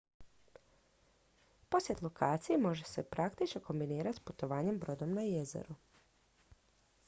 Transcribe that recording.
posjet lokaciji može se praktično kombinirati s putovanjem brodom na jezero